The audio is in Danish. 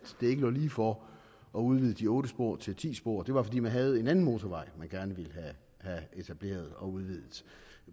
det ikke lå lige for at udvide de otte spor til ti spor og det var fordi man havde en anden motorvej man gerne ville have etableret og udvidet